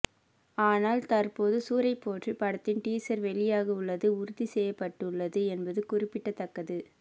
ஆனால் தற்போது சூரரைப்போற்று படத்தின் டீசர் வெளியாக உள்ளது உறுதி செய்யப்பட்டுள்ளது என்பது குறிப்பிடத்தக்கது